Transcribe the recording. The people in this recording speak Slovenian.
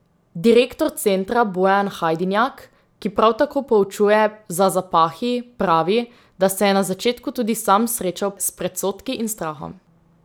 Direktor centra Bojan Hajdinjak, ki prav tako poučuje za zapahi, pravi, da se je na začetku tudi sam srečal s predsodki in strahom.